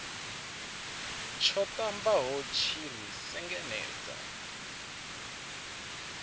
tsho ṱambaho tshi ri sengenedza